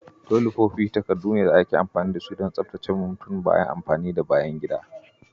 Tolifofi takardu ne da ake amfani da su don tsabtace mutum bayan amfani da bayan gida.